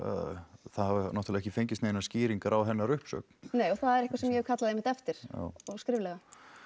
hafa náttúrulega ekki fengist neinar skýringar á hennar uppsögn nei og það er eitthvað sem ég hef kallað einmitt eftir og skriflega